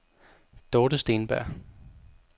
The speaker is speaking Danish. Dorte Steenberg